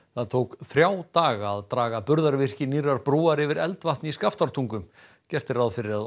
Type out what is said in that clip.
það tók þrjá daga að draga burðarvirki nýrrar brúar yfir Eldvatn í Skaftártungu gert er ráð fyrir að